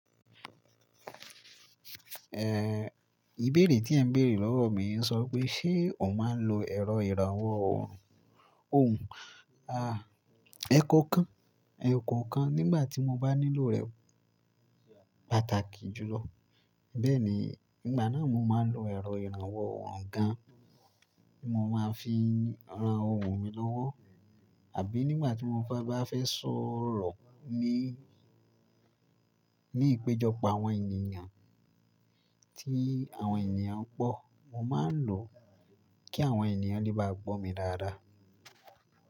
Ìbéèrè tí ẹ ń béèrè lọ́wọ́ mi yii ń sọ pé ṣe ọ máa ń lo ẹ̀rọ ìrànwọ́ ohùn, ohùn, ẹ̀kọ́ kan, ẹ̀kọ́ kan nígbà tí mo bá nílò rẹ̀ pàtàkì jùlọ. Bẹ́ẹ̀ni, nígbà náà mo máa ń lo ẹ̀rọ ìrànwọ́ ohùn gan, ti mo máa ń fi rán ohùn mi lọ́wọ́. Àbí nígbà tí mo bá fẹ́ sọ̀rọ̀ ní ìpéjọ pọ àwọn ènìyàn, tí àwọn ènìyàn ń pọ, mo máa ń lò ó kí àwọn ènìyàn lè bá gbọ́ mi dáadáa.